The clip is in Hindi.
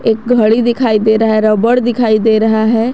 एक घड़ी दिखाई दे रहा है रबर दिखाई दे रहा है।